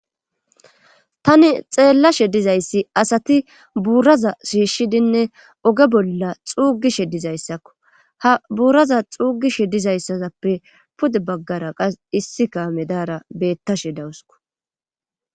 Tani xeellashe dizayssi asati buuraza shiishidinne oge bolla xuugishe dizayssakko ha buuraza xuugishe dizayssaappe pude baggara qas issika medaara beettashe dawusko